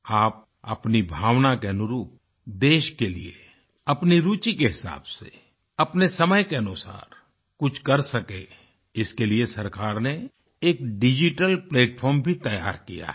आप अपनी भावना के अनुरूप देश के लिए अपनी रूचि के हिसाब से अपने समय के अनुसार कुछ कर सके इसके लिए सरकार ने एक डिजिटल प्लैटफार्म भी तैयार किया है